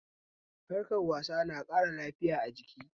Harkar wasa na ƙara lafiya a jiki